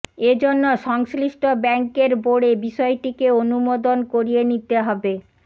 এজন্য সংশ্লিষ্ট ব্যাংকের বোর্ডে বিষয়টিকে অনুমোদন করিয়ে নিতে হবে